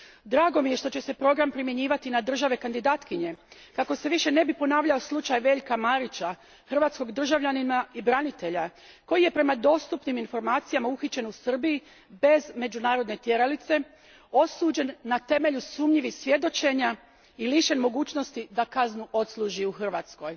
Drago mi je što će se program primjenjivati i na države kandidatkinje kako se više ne bi ponavljao slučaj Veljka Marića, hrvatskog državljanina i branitelja koji je, prema dostupnim informacijama, uhićen u Srbiji bez međunarodne tjeralice, osuđen na temelju sumnjivih svjedočenja i lišen mogućnosti da kaznu odslužuje u Hrvatskoj.